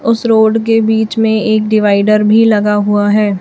उस रोड के बीच में एक डिवाइडर भी लगा हुआ है।